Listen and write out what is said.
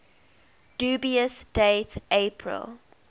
dubious date april